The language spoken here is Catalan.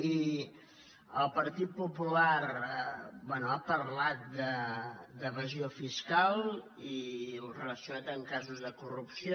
i el partit popular bé ha parlat d’evasió fiscal i ho ha relacionat amb casos de corrupció